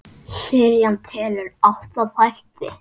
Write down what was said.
Serían telur átta þætti.